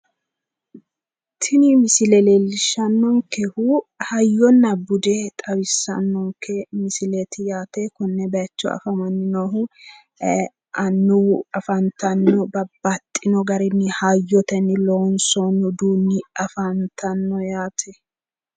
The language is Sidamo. tini misile leellishshannonkehu hayyonna bude xawissannonke misileeti yaate konne bayicho afamanni noohu ee annuwu afantanno babbaxino garinni hayyotenni loonsoonni uduunni afantanno yaate.